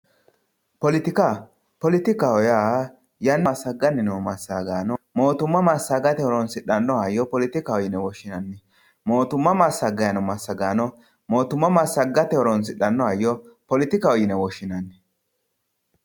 Poletika poletikaho yaa massagganni noo massagaano mootimma massagganno hayyo poletikaho yine woshshinanni moottimma massagayinoo massagaano massagganno hayyo poletikaho yinanni.